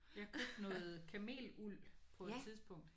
Jeg købte noget kameluld på et tidspunkt